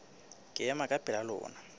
ke ema ka pela lona